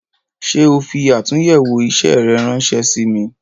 Ṣé o fi atunyewo isẹ rẹ ránsẹ́ sí mi "